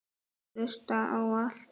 Hlusta á allt!!